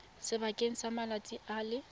sebakeng sa malatsi a le